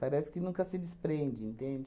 Parece que nunca se desprende, entende?